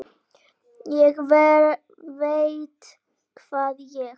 ÉG VEIT HVAÐ ÉG